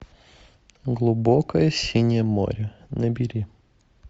глубокое синее море набери